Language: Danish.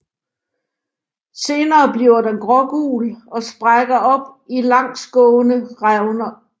Senere bliver den grågul og sprækker op i langsgående revner